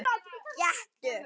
Gettu